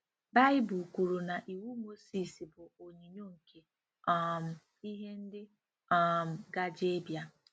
Baịbụl kwuru na Iwu Mozis bụ “ onyinyo nke um ihe ndị um gaje ịbịa.”